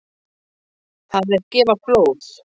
Það er gefa blóð.